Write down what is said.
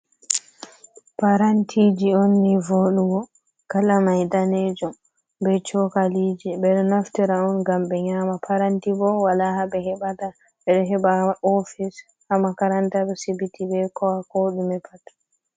Parantiji on ni voɗugo kala mai danejum be cokaliji, ɓeɗo naftira on ngam be nyama paranti bo wala haɓe hebata. Ɓeɗo heɓa ofis, ha makaranta, be sibbiti, be ko ɗume pat.